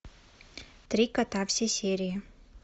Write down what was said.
три кота все серии